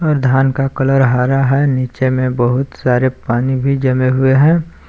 और धान का कलर हरा है नीचे में बहुत सारे पानी भी जमे हुए हैं।